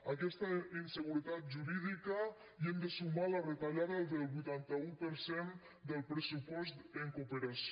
a aquesta inseguretat jurídica hi hem de sumar la retallada del vuitanta un per cent del pressupost en cooperació